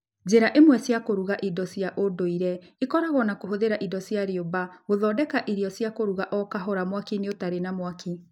Njĩra imwe cia kũruga irio cia ũndũire ikoragwo na kũhũthĩra indo cia rĩũmba gũthondeka irio cia kũruga o kahora mwaki-inĩ ũtarĩ na mwaki.